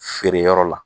Feere yɔrɔ la